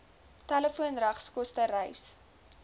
telefoon regskoste reis